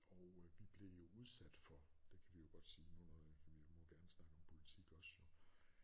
Og øh vi blev jo udsat for det kan vi jo godt sige nu når øh vi må gerne snakke om politik også jo